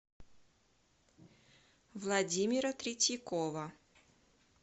владимира третьякова